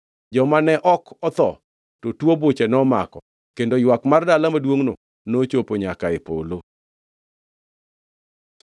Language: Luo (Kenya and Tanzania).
Joma ne ok otho to tuo buche nomako kendo ywak mar dala maduongʼno nochopo nyaka e polo.